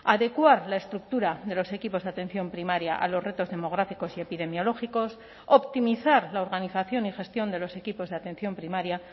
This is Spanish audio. adecuar la estructura de los equipos de atención primaria a los retos demográficos y epidemiológicos optimizar la organización y gestión de los equipos de atención primaria